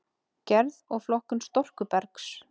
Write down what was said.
Gerð og flokkun storkubergs